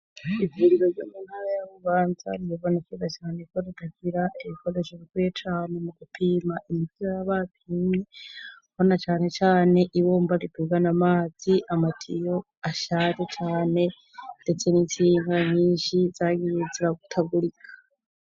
Ivuziro zamuntara yamubanza ribibona ikiza cane ko rudagira ibikadesho bikwiye cane mu gupima imityo yabapimye hona canecane ibomba ritugana amazi amatiyo ashari cane, ndetse ni intsinga nyishi zagiye zira gutagurika.